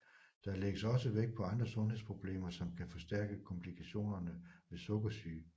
Der lægges også vægt på andre sundhedsproblemer som kan forstærke komplikationerne ved sukkersyge